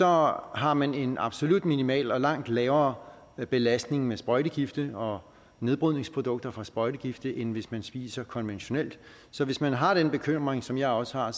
har har man en absolut minimal og langt lavere belastning med sprøjtegifte og nedbrydningsprodukter fra sprøjtegifte end hvis man spiser konventionelt så hvis man har den bekymring som jeg også har